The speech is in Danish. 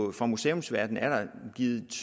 at fra museumsverdenen er der givet